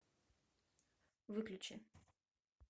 выключи